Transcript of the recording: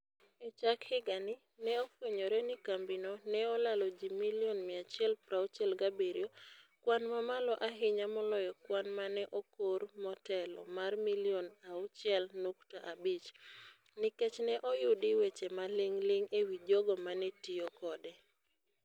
E chak higani, ne ofwenyore ni kambino ne olalo ji milion 167 - kwan mamalo ahinya moloyo kwan ma ne okor motelo mar milion 6.5 - nikech ne oyudi weche maling'ling' e wi jogo ma ne tiyo kode.